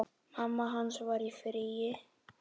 Mamma hans var í fríi.